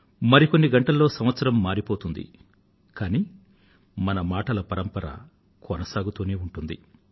మరికొన్ని గంటలలో సంవత్సరం మారిపోతుంది కానీ మన మాటల పరంపర కొనసాగుతూనే ఉంటుంది